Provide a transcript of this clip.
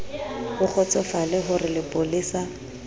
o kgotsofale ho re lepolesa